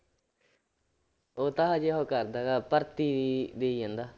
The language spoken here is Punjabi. ਉਹ ਤਾਂ ਹਜੇ ਉਹ ਕਰਦਾ ਗਾ ਭਰਤੀ ਦੇਈ ਜਾਂਦਾ।